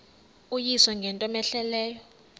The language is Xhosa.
uyise ngento cmehleleyo